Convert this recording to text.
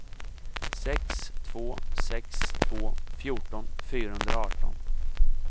sex två sex två fjorton fyrahundraarton